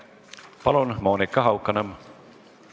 Palun, Monika Haukanõmm!